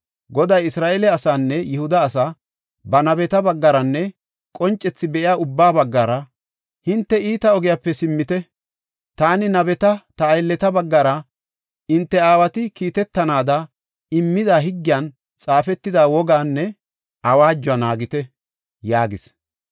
Goday Isra7eele asaanne Yihuda asaa ba nabeta baggaranne qoncethi be7iya ubbaa baggara, “Hinte iita ogiyape simmite; taani nabeta, ta aylleta baggara, hinte aawati kiitetanaada immida higgiyan xaafetida wogaanne awaajuwa naagite” yaagis.